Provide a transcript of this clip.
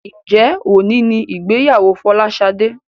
Njé òní ní ìgbéyàwó Folashade?